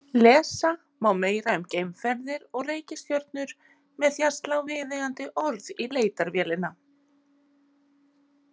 Lesa má meira um geimferðir og reikistjörnurnar með því að slá viðeigandi orð í leitarvélina.